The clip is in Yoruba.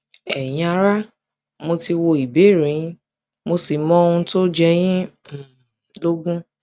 ẹyin ará mo ti wo ìbéèrè yín mo sì mọ ohun tó ń jẹ yín um lógún